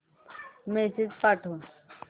message पाठव